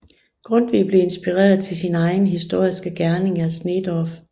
Grundtvig blev inspireret til sin egen historiske gerning af Sneedorff